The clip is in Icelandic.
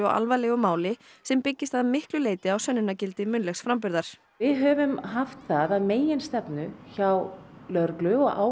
sem byggist að miklu leyti á sönnunargildi munnlegs framburðar við höfum haft það að meginstefnu hjá lögreglu og ákæruvaldi